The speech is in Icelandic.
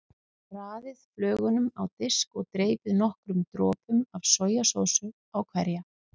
Raðið flögunum á disk og dreypið nokkrum dropum af sojasósu á hverja.